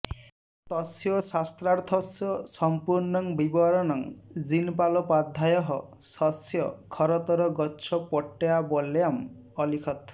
तस्य शास्त्रार्थस्य सम्पूर्णं विवरणं जिनपालोपाध्यायः स्वस्य खरतरगच्छपट्टावल्याम् अलिखत्